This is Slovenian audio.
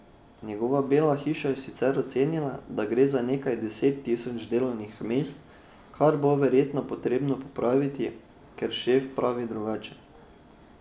Njegova Bela hiša je sicer ocenila, da gre za nekaj deset tisoč delovnih mest, kar bo verjetno potrebno popraviti, ker šef pravi drugače.